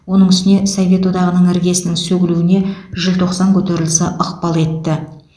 оның үстіне совет одағының іргесінің сөгілуіне желтоқсан көтерілісі ықпал етті